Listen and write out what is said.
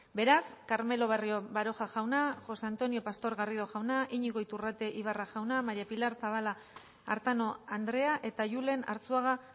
beraz carmelo barrio baroja jauna josé antonio pastor garrido jauna iñigo iturrate ibarra jauna maría pilar zabala artano andrea eta julen arzuaga